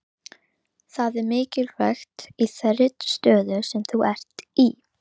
Það er mikilvægt í þeirri stöðu sem þú ert í.